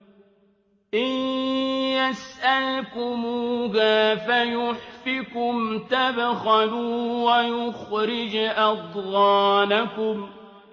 إِن يَسْأَلْكُمُوهَا فَيُحْفِكُمْ تَبْخَلُوا وَيُخْرِجْ أَضْغَانَكُمْ